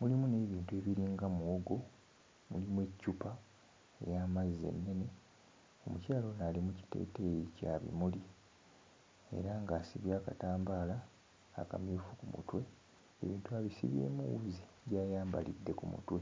mulimu n'ebintu ebiringa muwogo, mulimu eccupa ey'amazzi ennene. Omukyala ono ali mu kiteeteeyi kya bimuli era ng'asibye akatambaala akamyufu ku mutwe. Ebintu abisibyemu wuzi gy'ayambalidde ku mutwe.